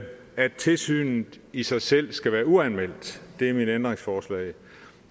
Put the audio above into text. at tilsynet i sig selv skal være uanmeldt det er mit ændringsforslag